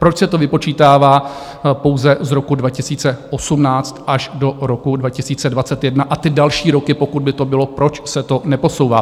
Proč se to vypočítává pouze z roku 2018 až do roku 2021 a ty další roky, pokud by to bylo, proč se to neposouvá?